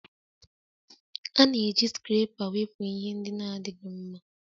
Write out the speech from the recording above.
A na-eji Scarapa wepụ ihe ndị na-adịghị mma